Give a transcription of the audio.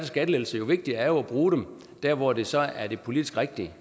skattelettelser jo vigtigere er det at bruge dem der hvor det så er det politisk rigtige